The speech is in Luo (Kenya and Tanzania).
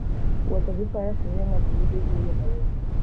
Wuotho gi faras miyo ng'ato yudo yueyo mayot.